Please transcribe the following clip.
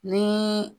Ni